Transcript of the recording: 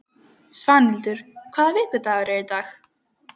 Svanhildur, hvaða vikudagur er í dag?